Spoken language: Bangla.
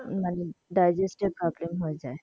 Digeste এর problem হয়ে যাই.